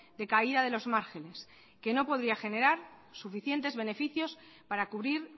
de caída de los márgenes que no podría generar suficientes beneficios para cubrir